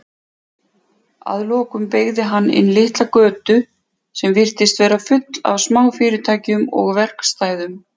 Að lokum beygði hann inn litla götu sem virtist vera full af smáfyrirtækjum og verkstæðum.